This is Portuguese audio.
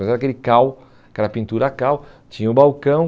Mas era aquele cal, aquela pintura cal, tinha o balcão.